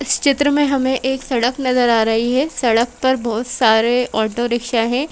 इस चित्र में हमें एक सड़क नजर आ रही है सड़क पर बहोत सारे ऑटो रिक्शा है।